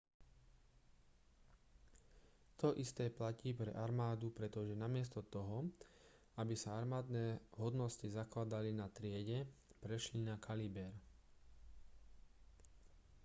to isté platí pre armádu pretože namiesto toho aby sa armádne hodnosti zakladali na triede prešli na kaliber